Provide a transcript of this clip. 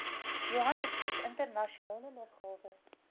johannesburg internasionale lughawe